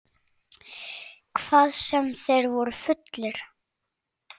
Hvað sem þeir voru fullir.